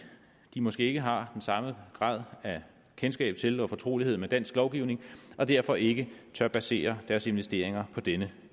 de måske ikke har den samme grad af kendskab til og fortrolighed med dansk lovgivning og derfor ikke tør basere deres investeringer på denne